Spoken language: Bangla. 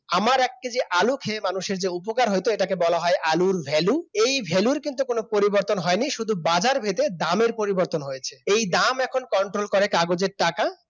আমার এক কেজি আলু খেয়ে মানুষের যে উপকার হইত এটাকে বলা হয় আলুর Value এই ভ্যালুর কিন্তু কোন পরিবর্তন হয়নি শুধু বাজার ভেদে দামের পরিবর্তন হয়েছে। এই দাম এখন Control করে কাগজের টাকা